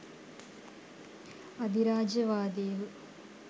අධිරාජ්‍යවාදීහු